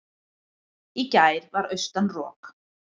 Í gær var austan rok.